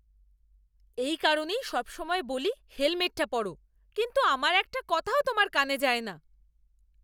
এই কারণে সবসময় বলি হেলমেটটা পরো, কিন্তু আমার একটা কথাও তোমার কানে যায় না।